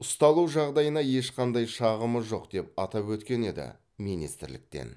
ұсталу жағдайына ешқандай шағымы жоқ деп атап өткен еді министрліктен